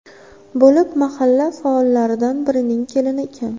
bo‘lib, mahalla faollaridan birining kelini ekan.